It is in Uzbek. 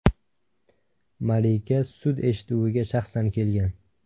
Malika sud eshituviga shaxsan kelgan.